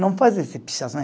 Não faz esse pichação.